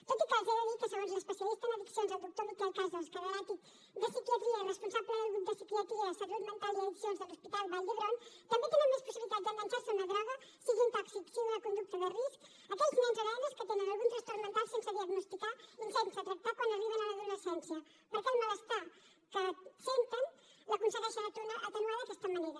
tot i que els haig de dir que segons l’especialista en addiccions el doctor miquel casas catedràtic de psiquiatria i responsable del grup de psiquiatria salut mental i addiccions de l’hospital vall d’hebron també tenen més possibilitats d’enganxar se a una droga sigui un tòxic sigui una conducta de risc aquells nens o nenes que tenen algun trastorn mental sense diagnosticar i sense tractar quan arriben a l’adolescència perquè el malestar que senten l’aconsegueixen atenuar d’aquesta manera